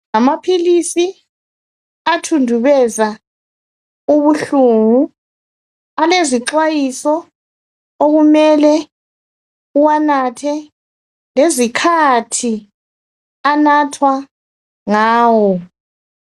Amaphilisi athundubeza ubuhlungu alezixwayiso okumele uwanathe .Lezikhathi anathwa ngawo .